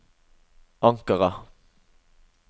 Ankara